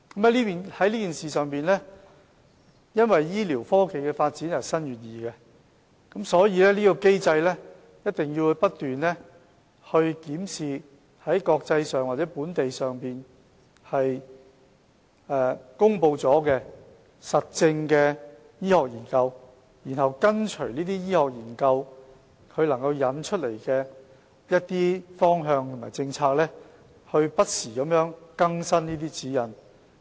在這件事情上，因為醫療科技的發展日新月異，所以，在這機制下，我們一定要不斷檢視在國際或本地已公布的、經實證的醫學研究，繼而跟隨這些醫學研究所引出的方向和政策，不時更新指引。